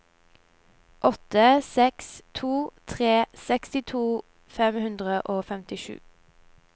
åtte seks to tre sekstito fem hundre og femtisju